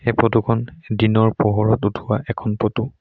এই ফটো খন দিনৰ পোহৰত উঠোৱা এখন ফটো ।